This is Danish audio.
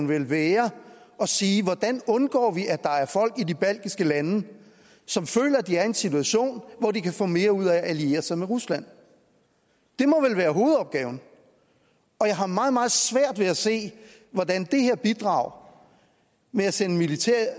vel være at sige hvordan vi undgår at der er folk i de baltiske lande som føler de er i en situation hvor de kan få mere ud af at alliere sig med rusland det må vel være hovedopgaven jeg har meget meget svært ved at se hvordan det her bidrag med at sende militære